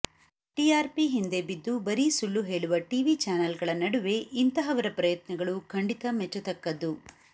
TRP ಹಿಂದೆ ಬಿದ್ದು ಬರೀ ಸುಳ್ಳು ಹೇಳುವ ಟಿವಿ ಚಾನಲ್ಗಳ ನಡುವೆ ಇಂತಹವರ ಪ್ರಯತ್ನಗಳು ಖಂಡಿತ ಮೆಚ್ಚತಕ್ಕದ್ದು